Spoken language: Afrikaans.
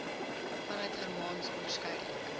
vanuit germaans onderskeidelik